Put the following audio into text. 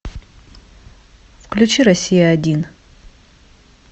включи россия один